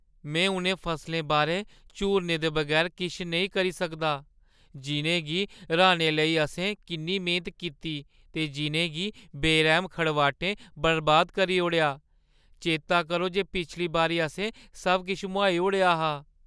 में उʼनें फसलें बारै झूरने दे बगैर किश नेईं कर सकदा जिʼनें गी राह्‌ने लेई असें किन्नी मेह्‌नत कीती ते जिʼनें गी बेरैह्‌म खड़बाटें बर्बाद करी ओड़ेआ। चेता करो जे पिछली बारी असें सब किश मुहाई ओड़आ हा ।